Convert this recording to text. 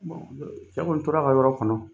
cɛ kɔɔni tora a ka yɔrɔ kɔnɔ.